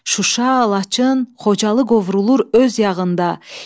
Şuşa, Laçın, Xocalı qovrulur öz yağında.